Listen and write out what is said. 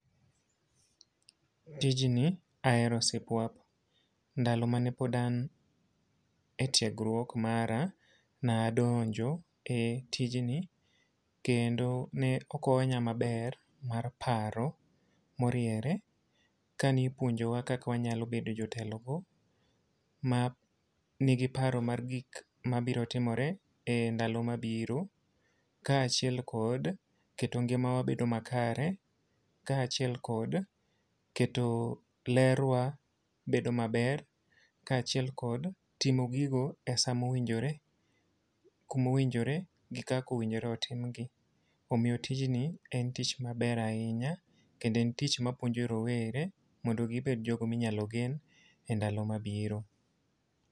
Tijni ahero sipuap. Ndalo mane pod an e tiegruok mara nadonjo e tijni kendo ne okonya maber mar paro moriere. Ka nipuonjowa kaka wanyalo bedo jotelo go, ma nigi paro mar gik mabiro timore e ndalo mabiro. Kaachiel kod keto ngimawa bedo makare, kaachiel kod keto ler wa bedo maber. Kaachiel kod timo gigo e sa mowinjore, kumowinjore gi kakowinjore otim gi. Omiyo tijni en tich maber ahinya, kendo en tich mapuonjo rowere mondo gibed jogo minyalo gen e ndalo mabiro.